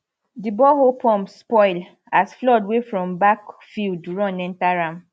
di borehole pump spoil as flood wey from backfield run enter am